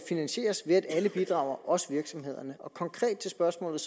finansieres ved at alle bidrager også virksomhederne og konkret til spørgsmålet